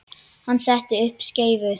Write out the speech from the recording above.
Hann setti upp skeifu.